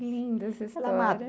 Linda, essa história.